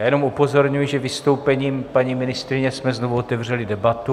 Já jenom upozorňuji, že vystoupením paní ministryně jsme znovu otevřeli debatu.